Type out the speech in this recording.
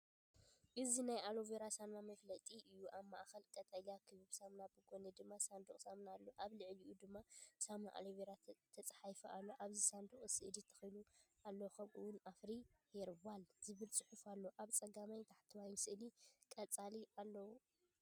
እዚ ናይ ኣሎቬራ ሳሙና መፋለጢ እዩ። ኣብ ማእከል ቀጠልያ ክቡብ ሳሙናን ብጎኒ ድማ ሳንዱቕ ሳሙናን ኣሎ። ኣብ ልዕሊኡ ድማ“ሳሙና ኣሎቬራ” ተጻሒፉ ኣሎ። ኣብቲ ሳንዱቕ ስእሊ ተኽሊ ኣሎው ከምኡ’ውን“ኣፍሪ ሄርባል”ዝብል ጽሑፍ ኣሎ። ኣብ ጸጋምን ታሕተዋይን ስእሊ ቆጽሊ ኣሎው ኣሎ።